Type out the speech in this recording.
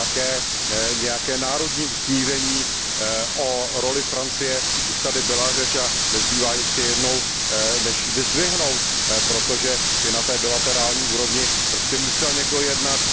Také o nějakém národním usmíření, o roli Francie už tady byla řeč a nezbývá ještě jednou než ji vyzdvihnout, protože i na té bilaterální úrovni prostě musel někdo jednat.